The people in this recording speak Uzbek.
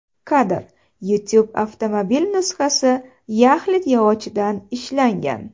Kadr: YouTube Avtomobil nusxasi yaxlit yog‘ochdan ishlangan.